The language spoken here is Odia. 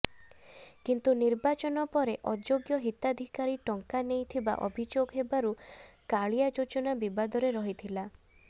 କିନ୍ତୁ ନିର୍ବାଚନ ପରେ ଅଯୋଗ୍ୟ ହିତାଧିକାରୀ ଟଙ୍କା ନେଇଥିବା ଅଭିଯୋଗ ହେବାକୁ କାଳିଆ ଯୋଜନା ବିବାଦରେ ରହିଥିଲା